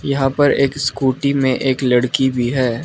यहां पर एक स्कूटी में एक लड़की भी है।